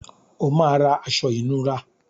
O máa ra aṣọ ìnura.